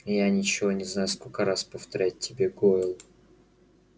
я ничего не знаю сколько раз повторять тебе гойл